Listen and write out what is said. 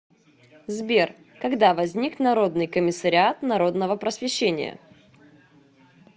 сбер когда возник народный комиссариат народного просвещения